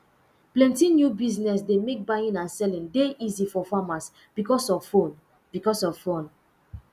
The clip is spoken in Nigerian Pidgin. plenty new business dey mek buying and selling dey easy for farmers becos of phone becos of phone